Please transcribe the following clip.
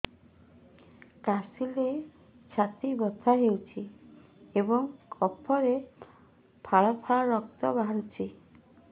କାଶିଲେ ଛାତି ବଥା ହେଉଛି ଏବଂ କଫରେ ପଳା ପଳା ରକ୍ତ ବାହାରୁଚି